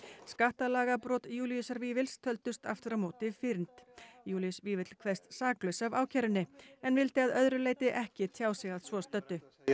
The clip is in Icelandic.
skattalagabrot Júlíusar Vífils töldust aftur á móti fyrnd Júlíus Vífill kveðst saklaus af ákærunni en vildi að öðru leyti ekki tjá sig að svo stöddu ég